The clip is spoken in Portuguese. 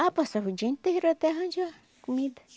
Ah, passava o dia inteiro até arranjar comida.